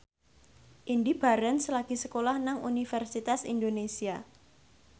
Indy Barens lagi sekolah nang Universitas Indonesia